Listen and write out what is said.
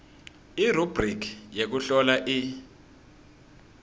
irubhrikhi yekuhlola i